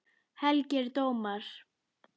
Helgir dómar